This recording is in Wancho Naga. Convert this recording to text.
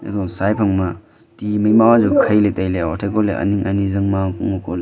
aga sai phang ma tii mai ma jau khai le taile ani ngaini jang ma ngo koh le.